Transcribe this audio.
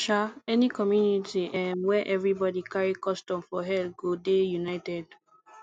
um any community um where everybodi carry custom for head go dey united